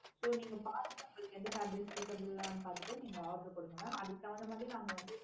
so நீங்க பார்த்துட்டு உங்களுக்கு எந்த fabric suitable ஆஹ் பார்த்துட்டு நீங்க order கொடுங்க mam அதுக்கு தகுந்த மாதிரி நாங்க வந்து